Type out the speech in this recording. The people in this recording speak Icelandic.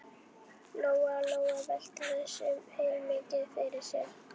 Lóa Lóa velti þessu heilmikið fyrir sér.